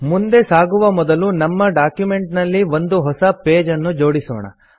ಮುಂದೆ ಸಾಗುವ ಮೊದಲು ನಮ್ಮ ಡಾಕ್ಯುಮೆಂಟ್ ನಲ್ಲಿ ಒಂದು ಹೊಸ ಪೇಜ್ ಅನ್ನು ಜೋಡಿಸೊಣ